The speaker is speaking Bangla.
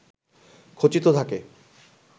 খচিত থাকে